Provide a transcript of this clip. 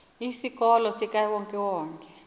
isikolo sikawonke wonke